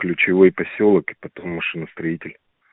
ключевой посёлок машиностроителей